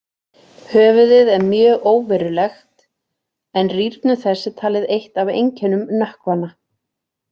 Höfuðið er mjög óverulegt, en rýrnun þess er talið eitt af einkennum nökkvanna.